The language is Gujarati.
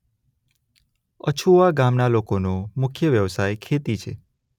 અછુવા ગામના લોકોનો મુખ્ય વ્યવસાય ખેતી છે.